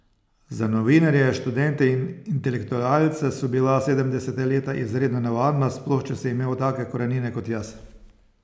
Za novinarje, študente in intelektualce so bila sedemdeseta leta izredno nevarna, sploh če si imel take korenine kot jaz.